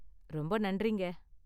ரொம்ப நன்றிங்க!